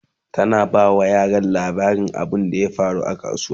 tana ba wa yaran labarin abunda ya faru a kasuwa